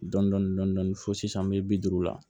Dɔndɔni dɔndɔni dɔndɔni fo sisan me bi duuru la